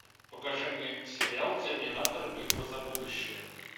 покажи мне сериал терминатор битва за будущее